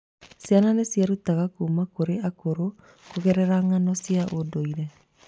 Ciana nĩ cierutaga kuuma kũrĩ akũrũ kũgerera ng'ano cia ũndũire.